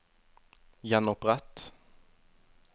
gjenopprett